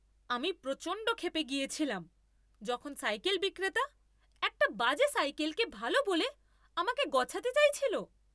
আমি প্রচণ্ড ক্ষেপে গিয়েছিলাম যখন সাইকেল বিক্রেতা একটা বাজে সাইকেলকে ভালো বলে আমাকে গছাতে চাইছিল।